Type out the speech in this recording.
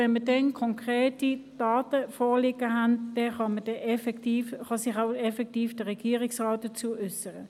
Wenn uns dann konkrete Daten vorliegen werden, kann sich der Regierungsrat effektiv dazu äussern.